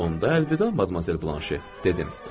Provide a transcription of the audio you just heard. Onda əlvida, Madmazel Blanşe, dedim.